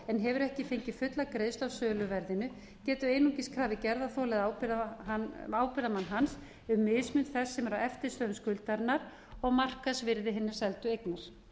hefur ekki fengið fulla greiðslu af söluverðinu geti einungis krafið gerðarþola eða ábyrgðarmann hans um mismun þess sem er að eftirstöðvum skuldarinnar og markaðsvirði hinnar seldu eignar